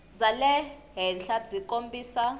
bya le henhla byi kombisa